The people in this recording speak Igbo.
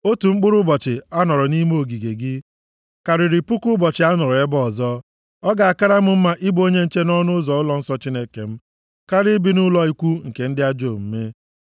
Otu mkpụrụ ụbọchị a nọrọ nʼime ogige gị, karịrị puku ụbọchị a nọrọ ebe ọzọ; ọ ga-akara m mma ịbụ onye nche nʼọnụ ụzọ ụlọnsọ Chineke m, karịa ibi nʼụlọ ikwu nke ndị ajọ omume.